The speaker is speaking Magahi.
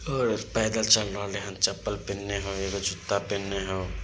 और पैदल चल रहलेहन चप्पल ।